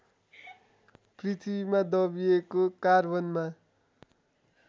पृथ्वीमा दबिएको कार्बनमा